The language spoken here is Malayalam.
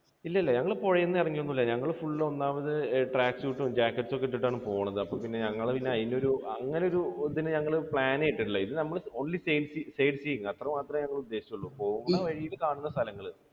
ഇല്ല ഇല്ല. ഞങ്ങൾ പുഴയിൽ ഒന്നും ഇറങ്ങി ഒന്നുമില്ല. ഞങ്ങൾ full ഒന്നാമത് track suit ഉം jacket ഉം ഒക്കെ ഇട്ടിട്ടാണ് പോണത്. അപ്പോൾ പിന്നെ ഞങ്ങൾ അതിനൊരു അങ്ങനെ ഒരു ഇതിന് ഞങ്ങൾ plan ഇട്ടിട്ടില്ല ഇത് നമ്മൾ only sight seeing അത്രയും മാത്രമേ ഞങ്ങൾ ഉദ്ദേശിച്ചുള്ളു. പോകുന്ന വഴിക്ക് കാണുന്ന സ്ഥലങ്ങൾ